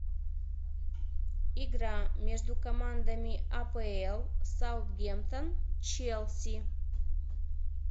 игра между командами апл саутгемптон челси